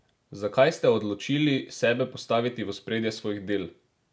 Zakaj ste se odločili sebe postaviti v ospredje svojih del?